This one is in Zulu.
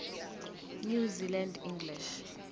new zealand english